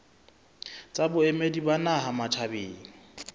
tsa boemedi ba naha matjhabeng